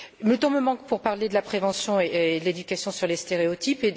Le temps me manque pour parler de la prévention et de l'éducation sur les stéréotypes.